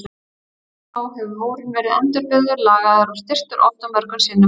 Síðan þá hefur múrinn verið endurbyggður, lagaður og styrktur oft og mörgum sinnum.